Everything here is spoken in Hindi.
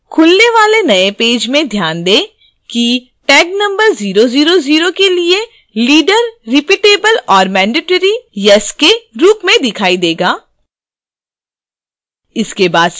खुलने वाले नए yes में ध्यान दें किtag number 000 के लिए leader: repeatable और mandatory yes के रूप में दिखाई tag